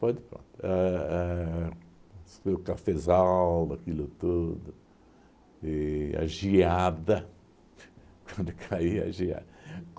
Pode por. A a foi o cafezal, aquilo tudo, e a geada, quando caía a geada.